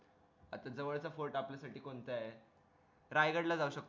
जवळचा fort आपल्या साठी कोणता हे रायगड ला जाऊ शकतो